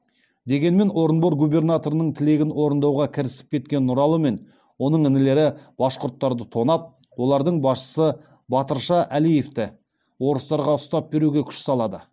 дегенмен орынбор губернаторының тілегін орындауға кірісіп кеткен нұралы мен оның інілері башқұрттарды тонап олардың басшысы батырша әлеевті орыстарға ұстап беруге күш салады